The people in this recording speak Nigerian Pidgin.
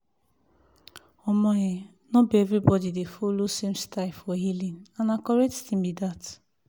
omo eh no be everybody dey follow same style for healing and na correct thing like dat.